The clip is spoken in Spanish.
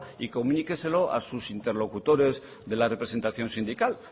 y comuníqueselo a sus interlocutores de la representación sindical